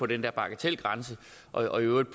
den der bagatelgrænse og i øvrigt